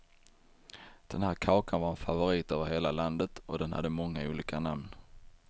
Den här kakan var en favorit över hela landet och den hade många olika namn.